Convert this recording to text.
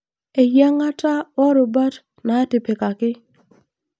Eyiangata worubat natipikaki.